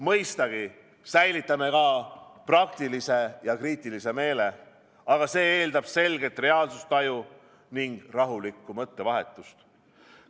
Mõistagi säilitame ka praktilise ja kriitilise meele, aga see eeldab selget reaalsustaju ning rahulikku mõttevahetust.